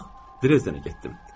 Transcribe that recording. Bax, Drezdenə getdim.